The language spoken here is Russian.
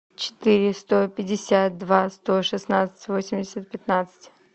четыре сто пятьдесят два сто шестнадцать восемьдесят пятнадцать